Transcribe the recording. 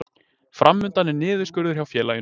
Fram undan er niðurskurður hjá félaginu